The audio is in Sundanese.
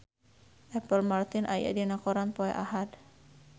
Apple Martin aya dina koran poe Ahad